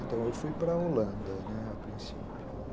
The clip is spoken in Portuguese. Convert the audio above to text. Então, eu fui para a Holanda, né, a princípio.